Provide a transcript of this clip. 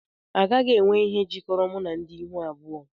Agaghị m enwe ihe jikọrọ m na ndị ihu abụọ